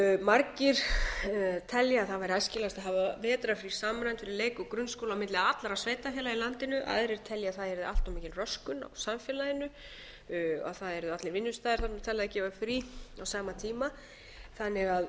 margir telja að það væri æskilegt að hafa vetrarfrí samræmd fyrir leik og grunnskóla á milli allra sveitarfélaga í landinu aðrir telja að það yrði allt of mikil röskun á samfélaginu að það yrðu allir vinnustaðir þarna að gefa frí á sama tíma þannig að